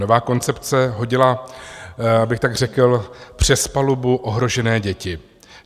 Nová koncepce hodila, abych tak řekl, přes palubu ohrožené děti.